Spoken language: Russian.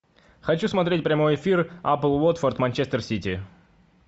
хочу смотреть прямой эфир апл уотфорд манчестер сити